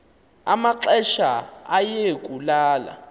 amaxesha aye kulala